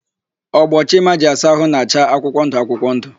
Ogbo Chima ji asa ahụ na-acha akwụkwọndụ akwụkwọndụ.